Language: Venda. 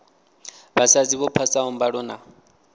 vhasadzi vho phasaho mbalo na